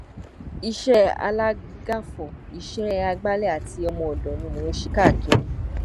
iṣẹ alágàfo iṣẹ àgbàlẹ àti ọmọọdọ ni mò ń ṣe káàkiri